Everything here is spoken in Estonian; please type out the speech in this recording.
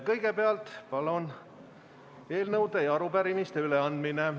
Kõigepealt on eelnõude ja arupärimiste üleandmine.